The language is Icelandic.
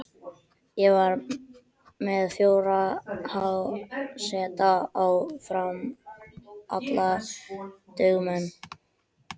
Ég var með fjóra háseta á Fram, allt dugnaðarmenn.